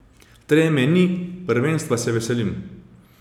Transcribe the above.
Treme ni, prvenstva se veselim.